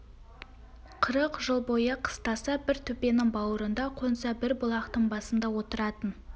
қырық жыл бойы қыстаса бір төбенің бауырында қонса бір бұлақтың басында отыратын